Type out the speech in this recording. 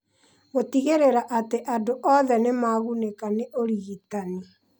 Gũtigĩrĩra atĩ andũ othe nĩ magunĩkaga nĩ ũrigitani.